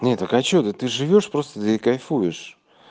нет так а что ты ты живёшь просто да и кайфуешь